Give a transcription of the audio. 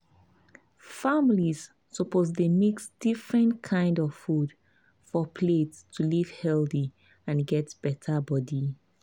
families suppose mix different kind of food for plate to live healthy and get better body.